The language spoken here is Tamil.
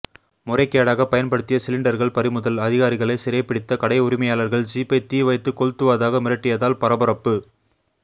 முறைகேடாக பயன்படுத்திய சிலிண்டர்கள் பறிமுதல் அதிகாரிகளை சிறைபிடித்த கடை உரிமையாளர்கள் ஜீப்பை தீவைத்து கொளுத்துவதாக மிரட்டியதால் பரபரப்பு